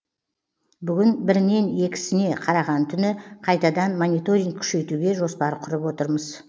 бүгін бірінен екісіне қараған түні қайтадан мониторинг күшейтуге жоспар құрып отырмыз